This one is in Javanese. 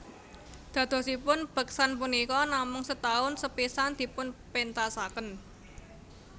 Dadosipun beksan punika namung setahun sepisan dipunpéntasaken